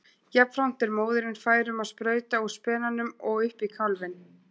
Jafnframt er móðirin fær um að sprauta úr spenanum og upp í kálfinn.